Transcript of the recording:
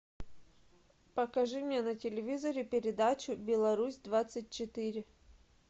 покажи мне на телевизоре передачу беларусь двадцать четыре